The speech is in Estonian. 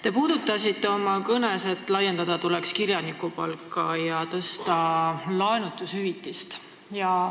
Te puudutasite oma kõnes seda teemat, et laiendada tuleks kirjanikupalga maksmist ja tõsta laenutushüvitist.